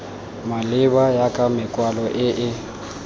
maleba ya makwalo e e